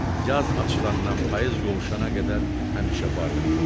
Yaz açılandan payız qovuşana qədər həmişə bar verir.